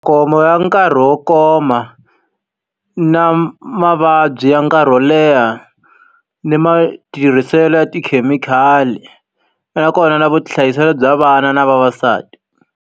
Khombo ya nkarhi wo koma, na mavabyi ya nkarhi wo leha, ni matirhiselo ya tikhemikhali, nakona na vuhlayiselo bya vana na vavasati.